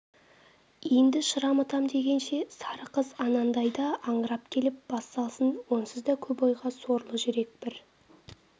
енді шырамытам дегенше сары қыз анандайдан аңырап келіп бас салсын онсыз да көп ойға сорлы жүрек бір